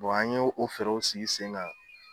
Wa an ye o fɛɛrɛw sigi sen na